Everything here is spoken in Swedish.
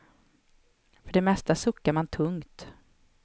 För det mesta suckar man tungt.